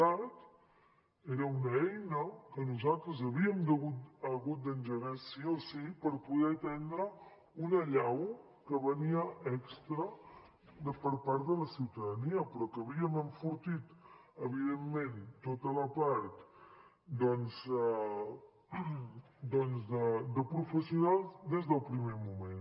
cat era una eina que nosaltres havíem hagut d’engegar sí o sí per poder atendre una allau que venia extra per part de la ciutadania però que havíem enfortit evidentment tota la part doncs de professionals des del primer moment